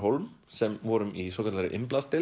Hólm sem vorum í svokallaðri